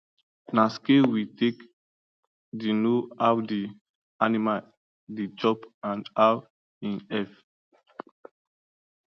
na scale we take the know how the animal the chop and how him heav